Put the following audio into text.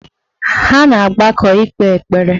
Ha na-agbakọ ikpe ekpere